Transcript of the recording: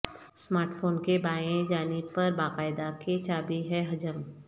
smart phone کے بائیں جانب پر باقاعدہ کہ چابی ہے حجم